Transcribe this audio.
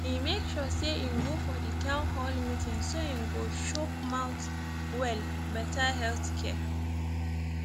e make sure say im go for di town hall meeting so im go shook mouth well better healthcare